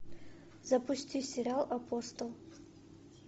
запусти сериал апостол